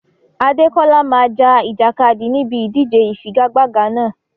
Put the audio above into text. Adekola máa ja ìjàkadì níbi ìdíje ìfigagbága náà.